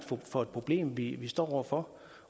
for et problem vi vi står over for